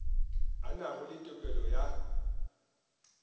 a nago le tokelo ya